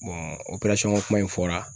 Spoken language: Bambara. ko kuma in fɔra